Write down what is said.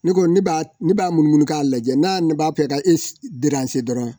Ne konie ne b'a mununu k'a lajɛ n'a ne b'a fɛ ka e draranse dɔrɔn.